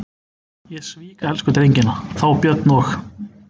Ég svík elsku drengina, þá Björn og